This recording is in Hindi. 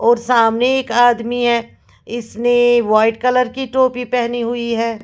और सामने एक आदमी है इसने वाइट कलर की टोपी पहनी हुई है।